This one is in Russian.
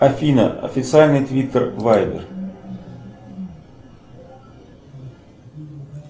афина официальный твиттер вайбер